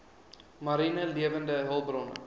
mariene lewende hulpbronne